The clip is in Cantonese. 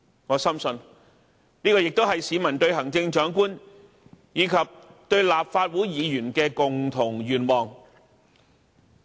我深信，這也是市民對行政長官，以及對立法會議員的共同期望。